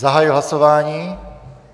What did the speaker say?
Zahajuji hlasování.